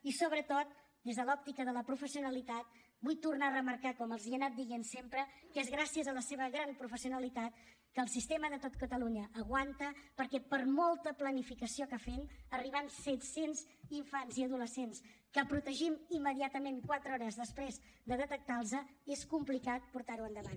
i sobretot des de l’òptica de la professionalitat vull tornar a remarcar com els he anat dient sempre que és gràcies a la seva gran professionalitat que el sistema de tot catalunya aguanta perquè per molta planificació que fem quan arriben set cents infants i adolescents que protegim immediatament quatre hores després de detectar los és complicat portar ho endavant